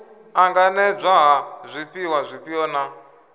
ṱanganedzwa ha zwifhiwa zwifhio na